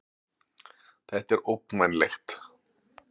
Þetta er ógnvænlegt